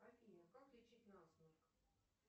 афина как лечить насморк